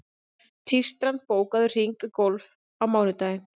Tístran, bókaðu hring í golf á mánudaginn.